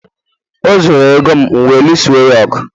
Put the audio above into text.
o zuru ego m wee lụọso ya ọgụ